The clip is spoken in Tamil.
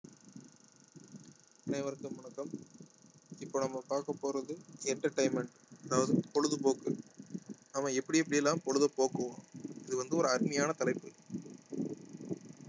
அனைவருக்கும் வணக்கம் இப்ப நம்ம பார்க்க போறது entertainment அதாவது பொழுதுபோக்கு நம்ம எப்படி எப்படி எல்லாம் பொழுது போக்குவோம் இது வந்து ஒரு அருமையான தலைப்பு